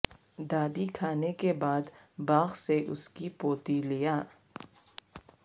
دادی کھانے کے بعد باغ سے اس کی پوتی لیا